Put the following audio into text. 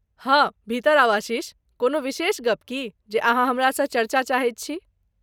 हाँ भीतर आउ आशीष, कोनो विशेष गप्प की जे अहाँ हमरा सँ चर्चा चाहैत छी?